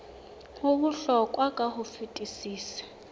ho bohlokwa ka ho fetisisa